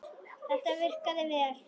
Þetta virkaði vel.